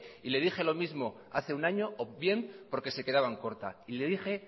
y le dije lo mismo hace un año o bien porque se quedaban corta y le dije